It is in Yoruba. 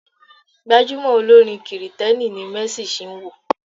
Gbajumo olórin kìrìtẹ̀ni ni Mercy Chinwo.